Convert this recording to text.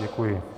Děkuji.